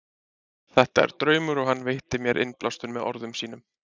Þetta er draumur og hann veitti mér innblástur með orðum sínum.